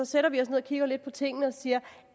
sætter vi os ned og kigger lidt på tingene og siger